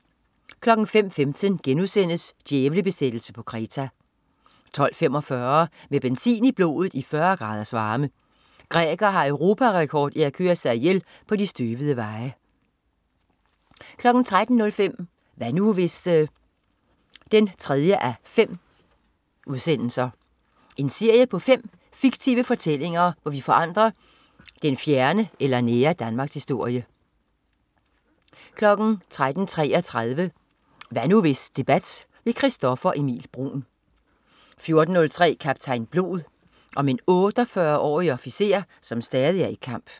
05.15 Djævlebesættelse på Kreta* 12.45 Med benzin i blodet i 40 graders varme. Grækere har Europarekord i at køre sig ihjel på de støvede veje 13.03 Hvad nu hvis? 3:5. En serie på 5 fiktive fortællinger, hvor vi forandrer den fjerne eller nære Danmarkshistorie 13.33 Hvad nu hvis debat. Christoffer Emil Bruun 14.03 Kaptajn Blod. Om en 88-årig officer som stadig er i kamp